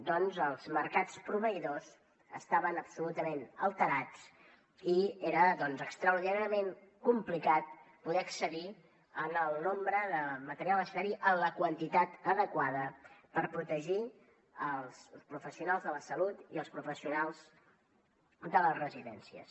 doncs els mercats proveïdors estaven absolutament alterats i era extraordinàriament complicat poder accedir al nombre de material sanitari en la quantitat adequada per protegir els professionals de la salut i els professionals de les residències